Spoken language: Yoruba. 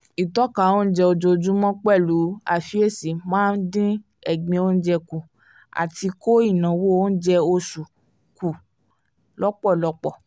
ìtọ́ka onjẹ ojoojúmọ́ pẹ̀lú àfiyesi máa ń dín egbin onjẹ kù àti kó ináwó oúnjẹ oṣù kù lọ́pọ̀lọpọ̀